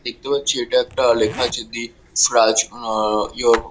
দেখতে পাচ্ছি এটা একটা লেখা আছে দি স্ক্রাচ আ-আ ইওর --